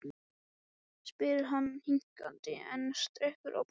spyr hann hikandi en strekkir á brosinu.